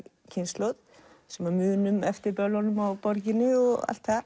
kynslóð sem munum eftir böllunum á borginni og allt það